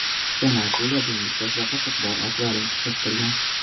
Qichani akula, dengiz toshbaqasi bor akvarium qiziqtirgan.